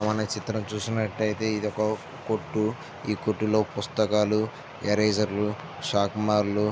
మన ఈ చిత్రం చూసుకొన్నట్టు ఐతే ఇది ఒక కొట్టు ఈ కొట్టు లో పుస్తకాలూ రేజర్ లు షార్పెర్ .